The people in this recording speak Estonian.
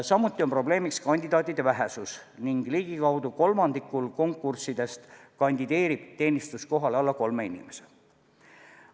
Samuti on probleemiks kandidaatide vähesus ning ligikaudu kolmandikul konkurssidest kandideerib teenistuskohale alla kolme inimese.